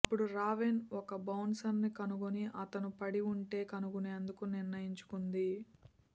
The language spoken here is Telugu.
అప్పుడు రావెన్ ఒక బౌన్సర్ కనుగొని అతను పడి ఉంటే కనుగొనేందుకు నిర్ణయించుకుంది